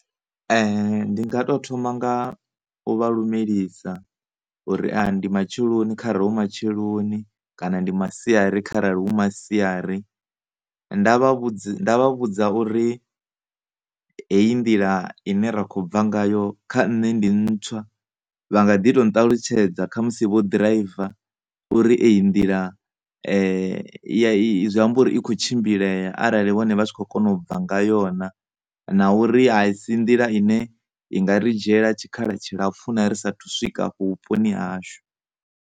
Ndi nga to thoma nga u vha lumelisa uri ndi matsheloni kharali hu matsheloni kana ndi masiari kharali hu masiari, nda vha vhudzi, nda vha vhudza uri hei nḓila ine ra kho bva ngayo kha nṋe ndi ntswa. Vha nga ḓi to nṱalutshedza khamusi vho ḓiraiva uri eyi nḓila zwi ambori i kho tshimbilea kharali vhone vha tshi khona u bva ngayo na, na uri a si nḓila ndapfhu ine ya nga ri dzhiela tshikhala tshilapfhu na ri sathu swika vhuponi hashu.